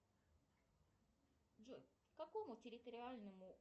джой к какому территориальному